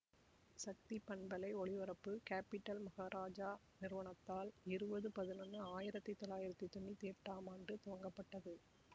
சக்தி பண்பலை ஒளிபரப்பு கேப்பிடல் மகாராஜா நிறுவனத்தால் இருபது பதினொன்னு ஆயிரத்தி தொளாயிரத்தி தொன்னுத்தி எட்டாம் ஆண்டு துவங்கப்பட்டது